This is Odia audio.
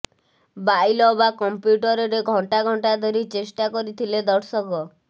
ବାଇଲ ବା କମ୍ପ୍ୟୁଟରରେ ଘଣ୍ଟା ଘଣ୍ଟା ଧରି ଚେଷ୍ଟା କରିଥିଲେ ଦର୍ଶକ